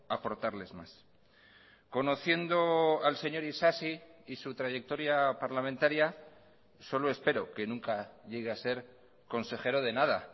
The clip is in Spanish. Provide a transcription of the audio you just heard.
aportarles más conociendo al señor isasi y su trayectoria parlamentaria solo espero que nunca llegue a ser consejero de nada